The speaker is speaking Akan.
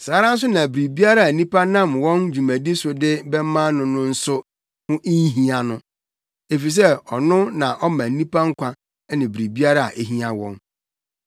Saa ara nso na biribiara a nnipa nam wɔn dwumadi so de bɛma no no nso ho nhia no, efisɛ ɔno na ɔma nnipa nkwa ne biribiara a ehia wɔn.